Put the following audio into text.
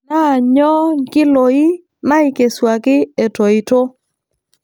Naa nyoo nkiloi naaikesuaki etoito.